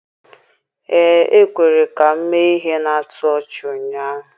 Ee, e kwere ka m mee ihe na-atụ ọchị ụnyaahụ.